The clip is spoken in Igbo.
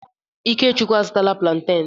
Ikechukwu a zụtala plantain.